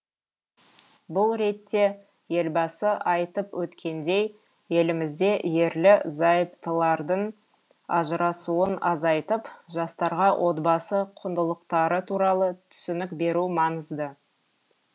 бұл ретте елбасы айтып өткендей елімізде ерлі зайыптылардың ажырасуын азайтып жастарға отбасы құндылықтары туралы түсінік беру маңызды